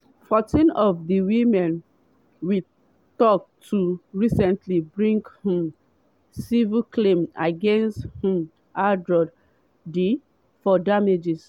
fourteen of di women we tok to recently bring um civil claims against um harrods for damages.